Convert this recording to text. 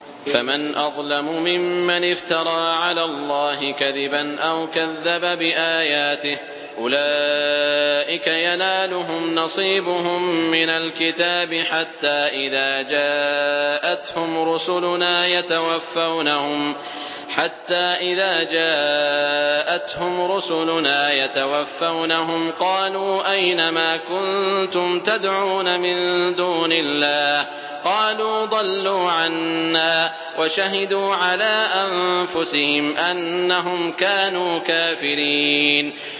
فَمَنْ أَظْلَمُ مِمَّنِ افْتَرَىٰ عَلَى اللَّهِ كَذِبًا أَوْ كَذَّبَ بِآيَاتِهِ ۚ أُولَٰئِكَ يَنَالُهُمْ نَصِيبُهُم مِّنَ الْكِتَابِ ۖ حَتَّىٰ إِذَا جَاءَتْهُمْ رُسُلُنَا يَتَوَفَّوْنَهُمْ قَالُوا أَيْنَ مَا كُنتُمْ تَدْعُونَ مِن دُونِ اللَّهِ ۖ قَالُوا ضَلُّوا عَنَّا وَشَهِدُوا عَلَىٰ أَنفُسِهِمْ أَنَّهُمْ كَانُوا كَافِرِينَ